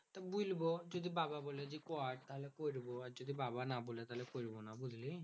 বইলবো যদি বাবা বলে যে কর তাহলে করবো। আর যদি বাবা না বলে তাহলে করবো না বুঝলি?